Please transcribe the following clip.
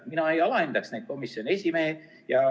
Mina ei alahindaks neid komisjoni esimehi.